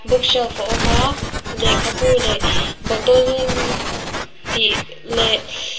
bookshelf a awm a lehkha bu leh bottle tih leh--